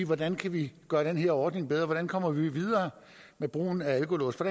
hvordan vi gør den her ordning bedre hvordan vi kommer videre med brugen af alkolåse for